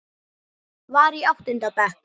Var í áttunda bekk.